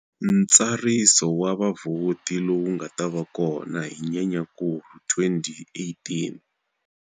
Ntsariso wa vavhoti lowu nga ta va kona hi Nyenyankulu 2018.